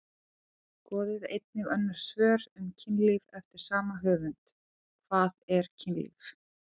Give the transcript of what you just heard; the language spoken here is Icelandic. Skoðið einnig önnur svör um kynlíf eftir sama höfund: Hvað er kynlíf?